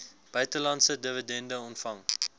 buitelandse dividende ontvang